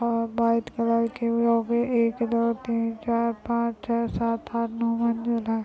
और white colour के वहाँ पे एक दो तीन चार पाँच छह सात आट नौ और द--